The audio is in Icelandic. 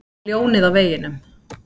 Ég er ljónið á veginum.